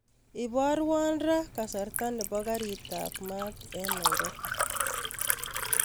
Iborwon raa kasarta nebo garit ab maat en nairobi